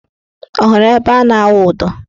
Ọ hụrụ ebe ha na-awụ ụdọ?